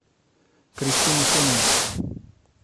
кристину сонину